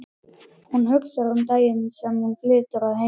Hún hugsar um daginn sem hún flytur að heiman.